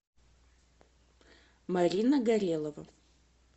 марина горелова